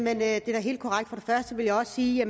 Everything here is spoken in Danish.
er da helt korrekt jeg vil også sige